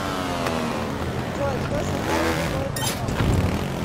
джой кто создал слепое пятно